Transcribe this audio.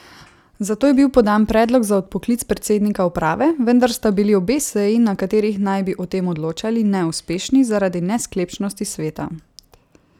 Zato je bil podan predlog za odpoklic predsednika uprave, vendar sta bili obe seji, na katerih naj bi o tem odločali, neuspešni zaradi nesklepčnosti sveta.